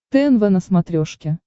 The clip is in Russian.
тнв на смотрешке